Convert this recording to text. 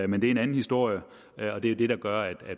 men det er en anden historie og det er det der gør at